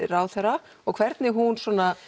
ráðherra og hvernig hún